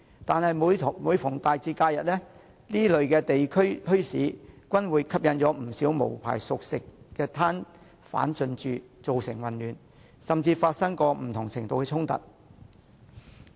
但是，每逢大節和假日，這些地區墟市均會吸引不少無牌熟食攤販進駐，造成混亂，甚至發生不同程度的衝突。